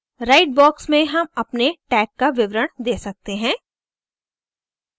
write box में हम अपने tag का विवरण दे सकते हैं